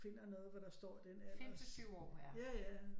Finder noget hvor der står den alder ja ja